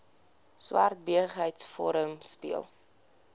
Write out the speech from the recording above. swart besigheidsforum speel